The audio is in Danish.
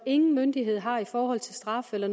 ingen myndighed har i forhold til straf eller